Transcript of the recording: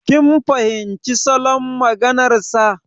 Kin fahimci salon maganar sa.